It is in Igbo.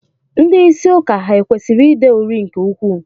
Ndị isi ụka ha kwesịrị ide uri nke ukwuu?